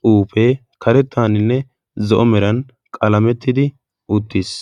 xuufee karettaaninne zo'o meran qalamettidi uttiis.